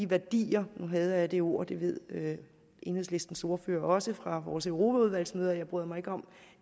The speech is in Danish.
værdier nu hader jeg det ord og det ved enhedslistens ordfører også fra vores europaudvalgsmøder jeg bryder mig ikke om